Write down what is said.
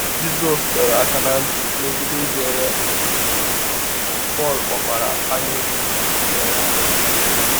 Jisọs dọrọ aka ná ntị megide ijere “ akụ̀ ” ozi, Pọl kpọkwara anyaụkwu ikpere arụsị.